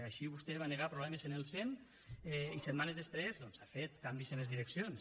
així vostè va negar problemes en el sem i setmanes després doncs ha fet canvis en les direccions